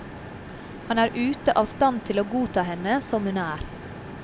Han er ute av stand til å godta henne som hun er.